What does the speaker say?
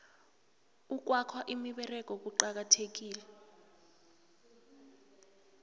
ukwakha imiberego kucakathekile